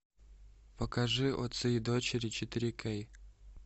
покажи отцы и дочери четыре кей